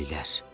Dəlilər.